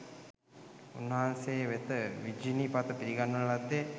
උන්වහන්සේ වෙත විජිනි පත පිළිගන්වන ලද්දේ